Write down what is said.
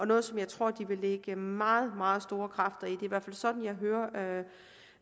noget som jeg tror de vil lægge meget meget store kræfter i hvert fald sådan jeg hører